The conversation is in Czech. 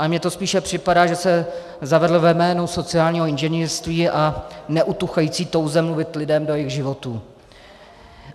Ale mně to spíše připadá, že se zavedl ve jménu sociálního inženýrství a neutuchající touhy mluvit lidem do jejich životů.